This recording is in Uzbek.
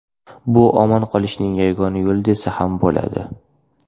Bu omon qolishning yagona yo‘li desa ham bo‘ladi.